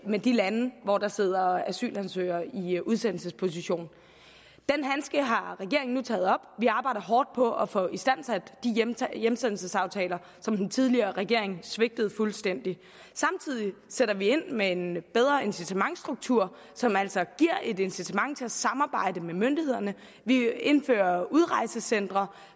med de lande hvor der sidder asylansøgere i udsendelsesposition den handske har regeringen taget op vi arbejder hårdt på at få istandsat de hjemsendelsesaftaler som den tidligere regering svigtede fuldstændig samtidig sætter vi ind med en bedre incitamentsstruktur som altså giver et incitament til at samarbejde med myndighederne vi indfører udrejsecentre